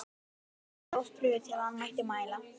Honum var eiginlega of brugðið til að hann mætti mæla.